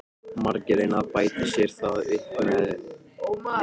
Margir reyna að bæta sér það upp með lyfjagjöf.